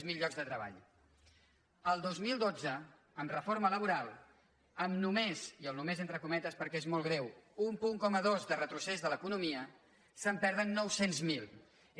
zero llocs de tre·ball el dos mil dotze amb reforma laboral amb només i el només entre cometes perquè és molt greu un coma dos punts de retrocés de l’economia se’n perden nou cents miler